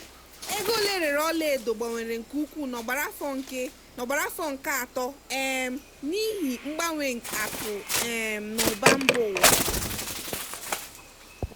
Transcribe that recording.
ego ole erere ọla edo gbanwere nke ukwuu n'ogbara afọ nke n'ogbara afọ nke atọ um n'ihi mgbanwe akụ um na ụba mba ụwa.